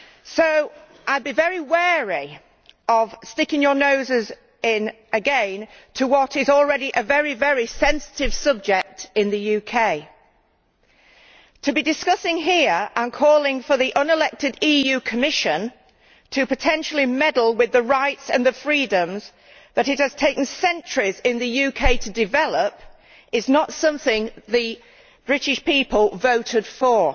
So I would be very wary of sticking your noses in again to what is already a very sensitive subject in the UK. To be discussing here and calling for the unelected EU Commission to potentially meddle with the rights and the freedoms that it has taken centuries in the UK to develop is not something the British people voted for.